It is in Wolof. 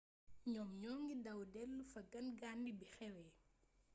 ñoom ñoŋi daw delu fa gangaande bi xewee